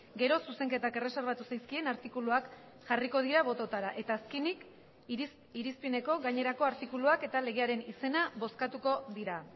gero zuzenketak erreserbatu zaizkien artikuluak jarriko dira bototara eta azkenik irizpeneko gainerako artikuluak eta legearen izena bozkatuko dira